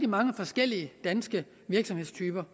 mange forskellige danske virksomhedstyper